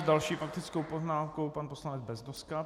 S další faktickou poznámkou pan poslanec Beznoska.